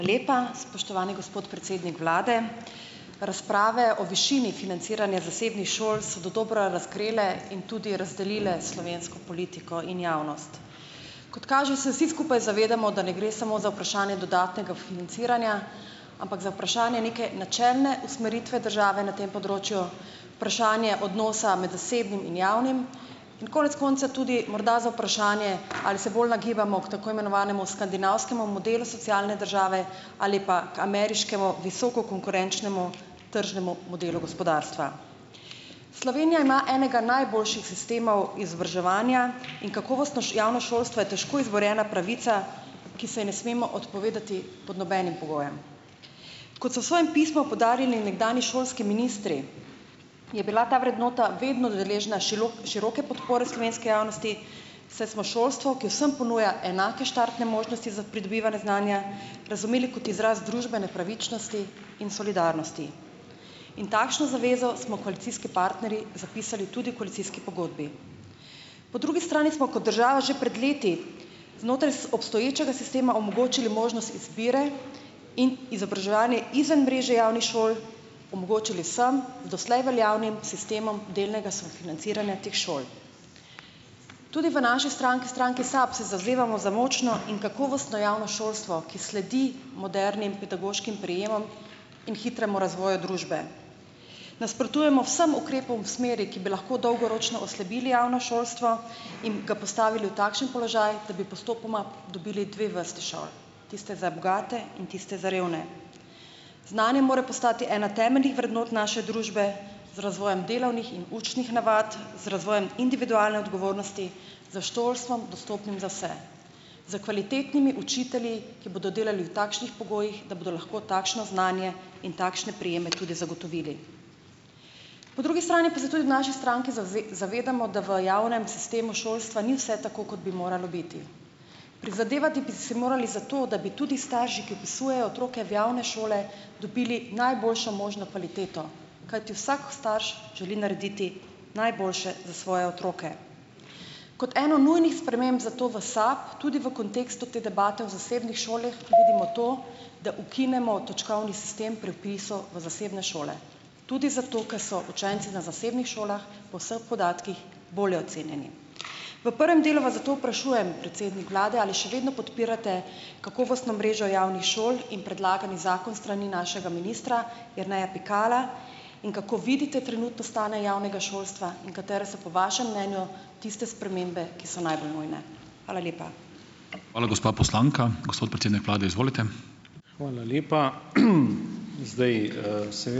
()lepa, spoštovani gospod predsednik vlade. Razprave o višini financiranja zasebnih šol so dodobra razkrile in tudi razdelile slovensko politiko in javnost. Kot kaže, se vsi skupaj zavedamo, da ne gre samo za vprašanje dodatnega financiranja, ampak za vprašanje neke načelne usmeritve države na tem področju, vprašanje odnosa med zasebnim in javnim, konec tudi morda za vprašanje, ali se bolj nagibamo k tako imenovanemu skandinavskemu modelu socialne države ali pa ameriškemu, visoko konkurenčnemu tržnemu modelu gospodarstva. Slovenija ima enega najboljših sistemov izobraževanja in kakovostno javno šolstvo je težko izborjena pravica, ki se ji ne smemo odpovedati pod nobenim pogojem. Kot so s svojim pismom poudarili nekdanji šolski ministri, je bila ta vrednota vedno deležna široke podpore slovenske javnosti, saj smo šolstvo, ki vsem ponuja enake štartne možnosti za pridobivanje znanja, razumeli kot izraz družbene pravičnosti in solidarnosti. In takšno zavezo smo koalicijski partnerji zapisali tudi v koalicijski pogodbi. Po drugi strani smo kot država že pred leti znotraj obstoječega sistema omogočili možnost izbire in izobraževanje izven mreže javnih šol, omogočili vsem doslej veljavnim sistemom delnega sofinanciranja teh šol. Tudi v naši stranki, stranki SAB, se zavzemamo za močno in kakovostno javno šolstvo, ki sledi modernim pedagoškim prijemom in hitremu razvoju družbe. Nasprotujemo vsem ukrepom v smeri, ki bi lahko dolgoročno oslabili javno šolstvo in ga postavili v takšen položaj, da bi postopoma dobili dve vrste šol. Tiste za bogate in tiste za revne. Znanje mora postati ena temeljnih vrednot naše družbe z razvojem delavnih in učnih navad, z razvojem individualne odgovornosti, z šolstvom, dostopnim za vse . S kvalitetnimi učitelji, ki bodo delali v takšnih pogojih, da bodo lahko takšno znanje in takšne prijeme tudi zagotovili. Po drugi strani pa se tudi v naši stranki zavedamo, da v javnem sistemu šolstva ni vse tako, kot bi moralo biti. Prizadevati bi si morali za to, da bi tudi starši, ki vpisujejo otroke v javne šole dobili najboljšo možno kvaliteto. Kajti vsak starš želi narediti najboljše za svoje otroke. Kot eno nujnih sprememb zato v SAB tudi v kontekstu te debate v zasebnih šolah vidimo to, da ukinemo točkovni sistem pri vpisu v zasebne šole. Tudi zato, ker so učenci na zasebnih šolah po vseh podatkih bolje ocenjeni. V prvem delu vas zato vprašujem, predsednik vlade, ali še vedno podpirate kakovostno mrežo javnih šol in predlagani zakon s strani našega ministra Jerneja Pikala in kako vidite trenutno stanje javnega šolstva in katere so po vašem mnenju tiste spremembe, ki so najbolj nujne. Hvala lepa. Hvala, gospa poslanka. Gospod predsednik vlade, izvolite.